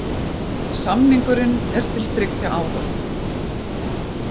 Samningurinn er til þriggja ára